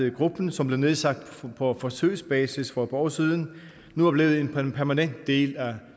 at gruppen som blev nedsat på forsøgsbasis for et par år siden nu er blevet en permanent del af